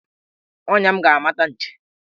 Ọnya m ga-amata nchi.